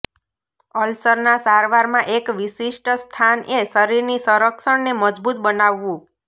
અલ્સરના સારવારમાં એક વિશિષ્ટ સ્થાન એ શરીરની સંરક્ષણને મજબૂત બનાવવું